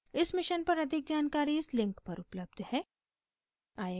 इस mission पर अधिक जानकारी इस link पर उपलब्ध है